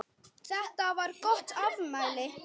Þetta var gott afmæli.